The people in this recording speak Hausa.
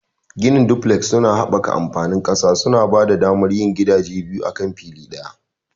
Ginin duflek suna haɓaka amfani da ƙasa, suna ba da damar yin gidaje biyu akan fili ɗaya.